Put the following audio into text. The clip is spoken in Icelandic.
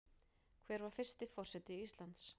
Hver var fyrsti forseti Íslands?